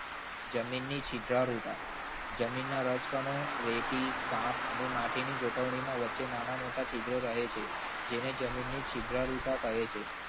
જમીનની સીધા રૂઢા જમીનના રજકણો રેતી કામ અને માટીની ગોઠવણીમાં વચ્ચે નાના મોટા છિદ્રો રહે છે. જેને જમીનની છિદ્ર રૂઢા કહે છે.